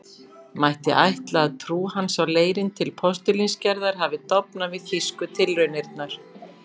Mætti ætla, að trú hans á leirinn til postulínsgerðar hafi dofnað við þýsku tilraunirnar.